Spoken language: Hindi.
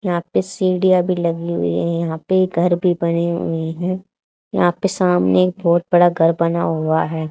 यहां पे सीढ़ियां भी लगी हुई हैं यहां पे घर भी बने हुए हैं यहां पे सामने एक बहुत बड़ा घर बना हुआ है।